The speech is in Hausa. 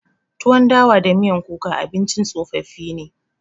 Tuwon dawa da miyan kuka abincin tsofaffi ne.